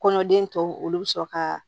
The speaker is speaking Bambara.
Kɔnɔden tɔw olu bɛ sɔrɔ ka